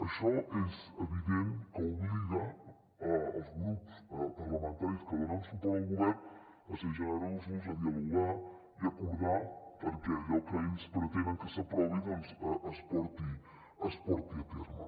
això és evident que obliga els grups parlamentaris que donen suport al govern a ser generosos a dialogar i a acordar perquè allò que ells pretenen que s’aprovi doncs es porti a terme